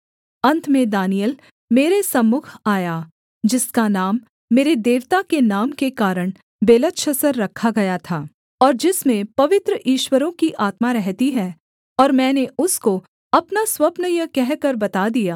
अन्त में दानिय्येल मेरे सम्मुख आया जिसका नाम मेरे देवता के नाम के कारण बेलतशस्सर रखा गया था और जिसमें पवित्र ईश्वरों की आत्मा रहती है और मैंने उसको अपना स्वप्न यह कहकर बता दिया